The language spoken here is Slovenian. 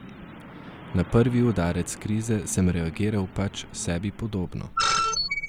Na prvi udarec krize sem reagiral pač sebi podobno.